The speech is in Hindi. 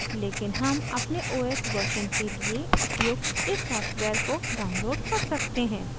लेकिन हम अपने os version के लिए उपयुक्त इस सॉफ्टवेयर को download कर सकते हैं